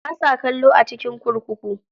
Ba sa kallo a cikin kurkuku.